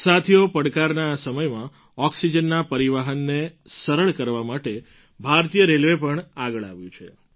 સાથીઓ પડકારના આ સમયમાં ઑક્સિજનના પરિવહનને સરળ કરવા માટે ભારતીય રેલવે પણ આગળ આવ્યું છે